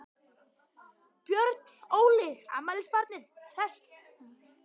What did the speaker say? Björn Óli, afmælisbarnið hresst?